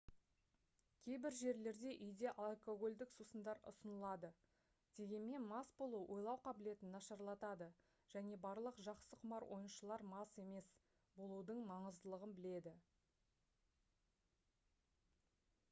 кейбір жерлерде үйде алкогольдік сусындар ұсынылады дегенмен мас болу ойлау қабілетін нашарлатады және барлық жақсы құмар ойыншылар мас емес болудың маңыздылығын біледі